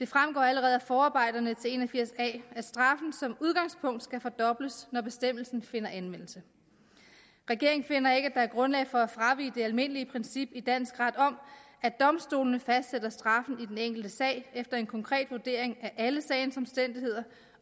fremgår allerede af forarbejderne til § en og firs a at straffen som udgangspunkt skal fordobles når bestemmelsen finder anvendelse regeringen finder ikke er grundlag for at fravige det almindelige princip i dansk ret om at domstolene fastsætter straffen i den enkelte sag efter en konkret vurdering af alle sagens omstændigheder